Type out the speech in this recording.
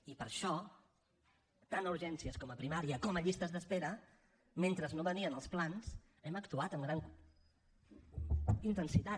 i per això tant a urgències com a primària com a llistes d’espera mentre no venien els plans hem actuat amb gran intensitat